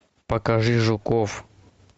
покажи жуков